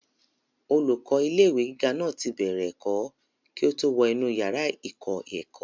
olùkọ́ ilé ìwé gíga náà ti bẹ̀rẹ̀ ẹ̀kọ́ kí ó tó wọ inú yàrá ìkọ́-ẹ̀kọ́